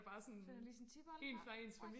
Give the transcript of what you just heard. så er der lige sådan tipoldefar